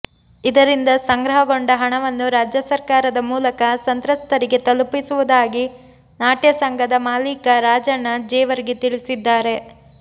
ಇದರಿಂದ ಸಂಗ್ರಹಗೊಂಡ ಹಣವನ್ನು ರಾಜ್ಯ ಸರ್ಕಾರದ ಮೂಲಕ ಸಂತ್ರಸ್ತರಿಗೆ ತಲುಪಿಸುವುದಾಗಿ ನಾಟ್ಯ ಸಂಘದ ಮಾಲೀಕ ರಾಜಣ್ಣಾ ಜೇವರ್ಗಿ ತಿಳಿಸಿದ್ದಾರೆ